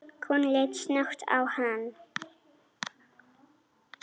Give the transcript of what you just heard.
Konan leit snöggt á hann.